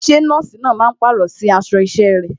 Ṣé nọ́ọ̀sì náà máa pàrọ̀ sí aṣọ isẹ rẹ̀?